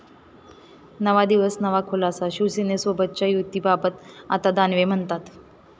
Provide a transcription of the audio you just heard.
नवा दिवस नवा खुलासा, शिवसेनेसोबतच्या युतीबाबत आता दानवे म्हणतात...